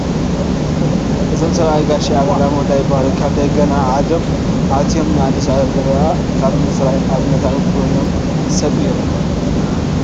እዞም ሰብኣይ ጋሼ ኣበራ ሞላ ይበሃሉ፡፡ ካብ ደገ ናብ ዓዶም ኣትዮም ንኣዲስ ኣበባ ኣብ ምፅራይ ኣብነታዊ ኮይኖም ብምስራሕ ዝፍለጡ ሰብ እዮም፡፡